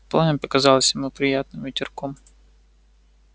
пламя показалось ему приятным ветерком